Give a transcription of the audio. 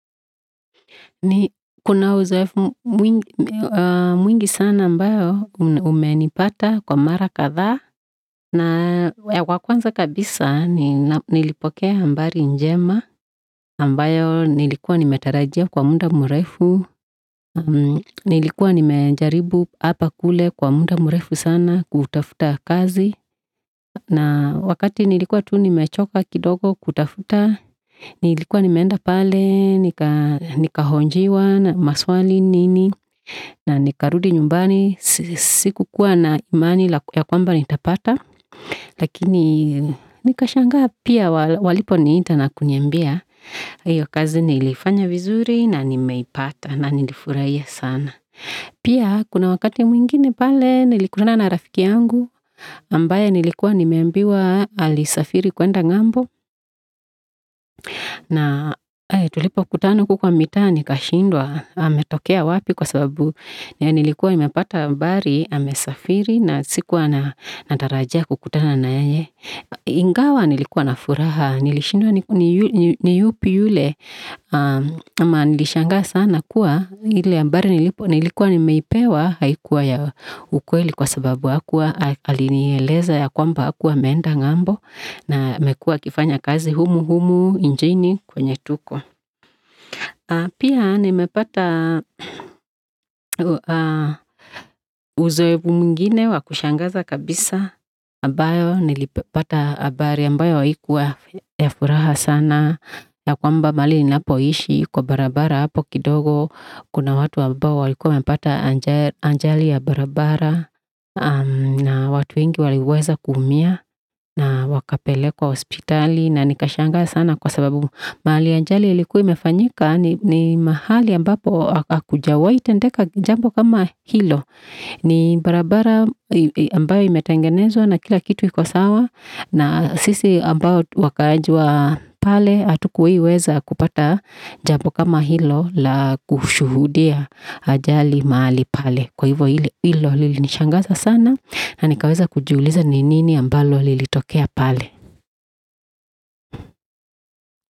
Ni kuna uzoefu mwingi sana ambayo umeni pata kwa mara kathaa. Na wakwanza kabisa ni nilipoke hambari njema. Ambayo nilikwa nimetarajia kwa muda murefu. Nilikwa nimejaribu apakule kwa muda murefu sana kutafuta kazi. Na wakati nilikwa tu nimechoka kidogo kutafuta, Nilikwa nimenda pale, nika hojiwa na maswali nini, na nikarudi nyumbani sikukuwa na imani yakwamba ni tapata. Lakini nikashangaa pia waliponiita na kuniambia hiyo kazi nilifanya vizuri na nimeipata na nilifurahia sana. Pia, kuna wakati mwingine pale, nilikutana na rafiki yangu. Ambaye nilikwa nimeambiwa ali safiri kuenda ngambo. Na tulipo kutana huku kwa mita nika shindwa. Ametokea wapi kwa sababu nilikwa imepata ambari, amesafiri na sikua natarajia kukutana na yeye. Ingawa nilikwa na furaha. Nilishindwa niupi yule. Nilishanga sana kua ile hambari nilikwa, nilikwa nimeipewa haikuwa ya ukweli kwa sababu hakua alini eleza ya kwamba hakua ameenda ngambo. Na amekuwa akifanya kazi humu-humu inchini kwenye tuko. Pia, nimepata uzoefu mwingine wakushangaza kabisa. Ambayo, nilipata hambari. Ambayo haikua ya furaha sana. Ya kwamba mahali ninapo ishi, kwa barabara hapo kidogo. Kuna watu ambao walikuwa wamepata ajali ya barabara. Na watu wengi waliweza kuumia. Na wakapelekwa hospitali. Na nikashangaa sana kwa sababu mahali ajali ilikua imefanyika. Ni mahali ambapo hakujawahi tendeka jambo kama hilo. Nibarabara ambayo ime tangenezwa na kila kitu kikosawa. Na sisi ambao wakaaji wa pale hatukuwahi weza kupata jambo kama hilo la kushuhudia ajali mahali pale. Kwa hivyo hilo lilinishangaza sana. Na nikaweza kujiuliza ni nini ambalo lilitokea pale.